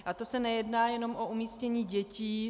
A to se nejedná jenom o umístění dětí.